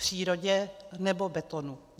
Přírodě, nebo betonu?